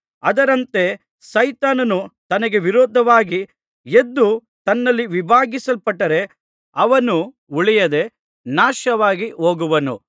ಅದರಂತೆ ಸೈತಾನನು ತನಗೆ ವಿರೋಧವಾಗಿ ಎದ್ದು ತನ್ನಲ್ಲಿ ವಿಭಾಗಿಸಲ್ಪಟ್ಟರೆ ಅವನು ಉಳಿಯದೆ ನಾಶವಾಗಿ ಹೋಗುವನು